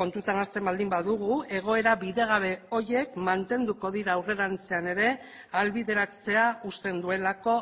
kontutan hartzen baldin badugu egoera bidegabe horiek mantenduko dira aurrerantzean ere ahalbideratzea usten duelako